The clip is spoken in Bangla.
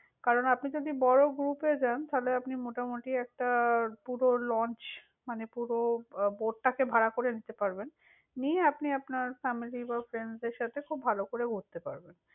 কারণ আপনি যদি বড় group এ যান তাহলে আপনি মোটামুটি একটা, পুরো launch মানে পুরো boat টাকে ভাড়া করে নিতে পারবেন। নিয়ে আপনি আপনার family বা friends দের সাথে খুব ভালো করে ঘুরতে পারবেন।